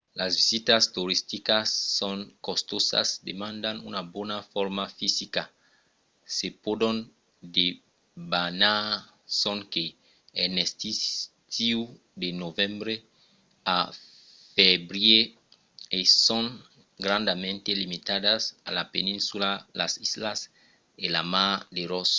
las visitas toristicas son costosas demandan una bona forma fisica se pòdon debanar sonque en estiu de novembre a febrièr e son grandament limitadas a la peninsula las islas e la mar de ross